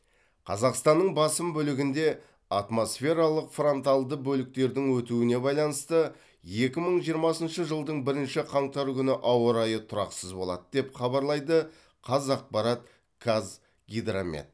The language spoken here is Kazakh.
қазақстанның басым бөлігінде атмосфералық фронталды бөліктердің өтуіне байланысты екі мың жиырмасыншы жылдың бірінші қаңтары күні ауа райы тұрақсыз болады деп хабарлайды қазақпарат қазгидромет